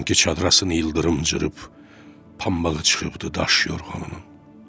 Sanki çadrasını ildırım cırıb, pambığı çıxıbdır daş yorğanının.